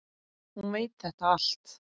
Hún veit þetta allt.